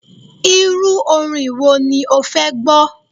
Irú orin wo ni o fẹ́ gbọ́?